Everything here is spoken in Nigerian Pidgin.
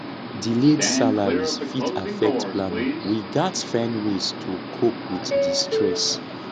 delayed salaries fit affect planning we gats find ways to cope with di stress